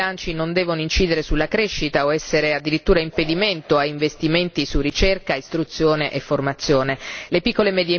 Gli interventi sui bilanci non devono incidere sulla crescita o essere addirittura impedimento o a investimenti su ricerca, istruzione e formazione.